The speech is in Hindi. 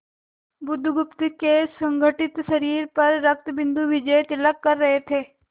बुधगुप्त के सुगठित शरीर पर रक्तबिंदु विजयतिलक कर रहे थे